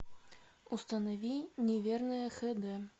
установи неверная х д